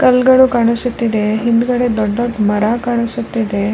ಕಲ್ಗಳು ಕಾಣಿಸುತ್ತಿದೆ ಹಿಂದ್ಗಡೆ ದೊಡ್ಡ್ ದೊಡ್ದ್ ಮರಗಳು ಕಾಣಿಸುತ್ತಿದೆ.